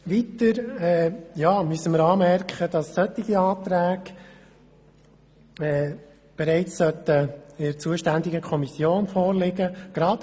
Weiter müssen wir anmerken, dass solche Anträge bereits der zuständigen Kommission vorliegen sollten.